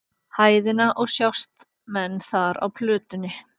hæðina og sjást menn þar á plötunni.